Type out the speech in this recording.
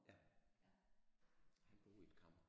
Ja han boede i et kammer